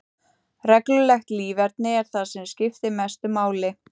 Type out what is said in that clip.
Reglulegt líferni er það sem skiptir mestu máli.